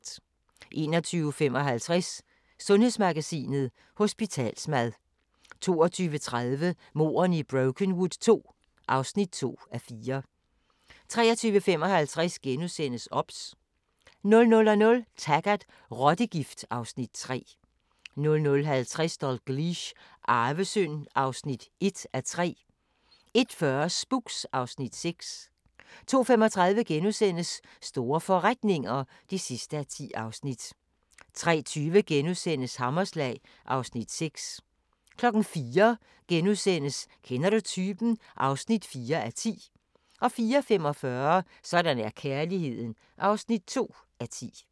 21:55: Sundhedsmagasinet: Hospitalsmad 22:30: Mordene i Brokenwood II (2:4) 23:55: OBS * 00:00: Taggart: Rottegift (Afs. 3) 00:50: Dalgliesh: Arvesynd (1:3) 01:40: Spooks (Afs. 6) 02:35: Store forretninger (10:10)* 03:20: Hammerslag (Afs. 6)* 04:00: Kender du typen? (4:10)* 04:45: Sådan er kærligheden (2:10)